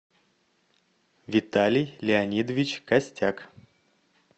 виталий леонидович костяк